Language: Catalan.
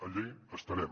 allà estarem